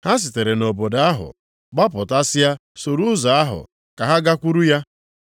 Ha sitere nʼobodo ahụ gbapụtasịa soro ụzọ ahụ, ka ha gakwuru ya.